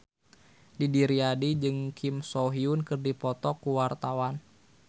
Didi Riyadi jeung Kim So Hyun keur dipoto ku wartawan